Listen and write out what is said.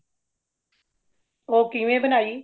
ਉਹ ਕਿਵੇਂ ਬਨਾਈ